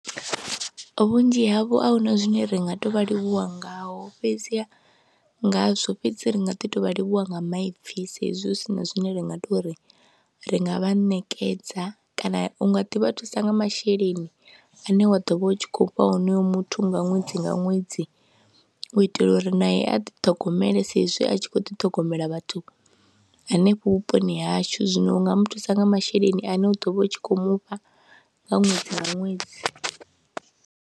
Vhunzhi havho a hu na zwine ri nga tou vha livhuwa ngaho fhedzi ngazwo fhedzi ri nga ḓi tou vha livhuwa nga maipfhi sa hezwi hu si na zwine ra nga tou ri ri nga vha ṋekedza kana u nga ḓi vha thusa nga masheleni ane wa ḓo vha u tshi khou fha honoyo muthu nga ṅwedzi nga ṅwedzi u itela uri nae a ḓiṱhogomele sa izwi a tshi khou ḓiṱhogomela vhathu hanefho vhuponi hashu, zwino u nga mu thusa nga masheleni ane u ḓo vha u tshi khou mu fha nga ṅwedzi nga ṅwedzi.